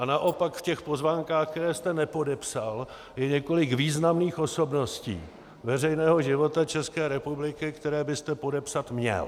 A naopak v těch pozvánkách, které jste nepodepsal, je několik významných osobností veřejného života České republiky, které byste podepsat měl.